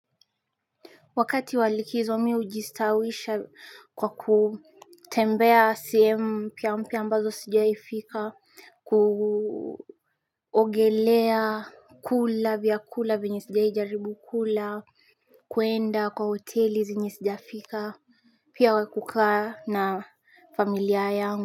Wakati walikizomi ujistawisha kwa kutembea sehemu pia mpia ambazo sijaifika kuogelea kula vya kula vinyisidia ijaribu kula kuenda kwa hoteli zenye sijifika Pia wakukaa na familia yangu.